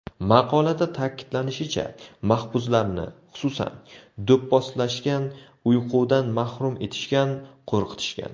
Maqolada ta’kidlanishicha, mahbuslarni, xususan, do‘pposlashgan, uyqudan mahrum etishgan, qo‘rqitishgan.